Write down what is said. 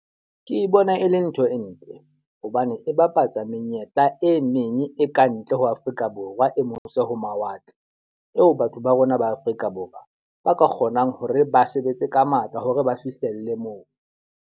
Ke bona e le ntho e ntle hobane e bapatsa menyetla e meng e kantle ho Afrika Borwa, e mose ho mawatle. Eo batho ba rona ba Afrika Borwa ba ka kgonang hore ba sebetse ka matla hore ba fihlelle moo.